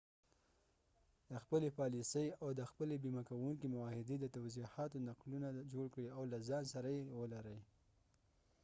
د خپلې پالیسۍ او د خپلې بیمه کونکي معاهدې د توضیحاتو نقلونه جوړ کړئ او له ځان سره يې ولرئ